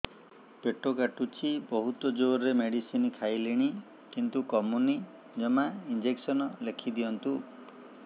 ପେଟ କାଟୁଛି ବହୁତ ଜୋରରେ ମେଡିସିନ ଖାଇଲିଣି କିନ୍ତୁ କମୁନି ଜମା ଇଂଜେକସନ ଲେଖିଦିଅନ୍ତୁ